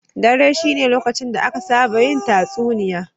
Dare shine lokacin da aka saba yin tatsuniya.